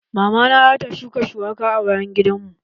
Mama na za ta shuka shuwaka a bayan gidan mu.